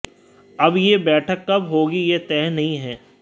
अब यह बैठक कब होगी यह तय नहीं है